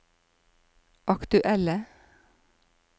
aktuelle